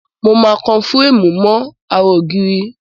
Mo máa kan fúréèmù náà mọ́ ara ògiri.